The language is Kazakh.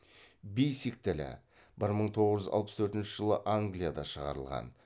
бейсик тілі бір мың тоғыз жүз алпыс төртінші жылы англияда шығарылған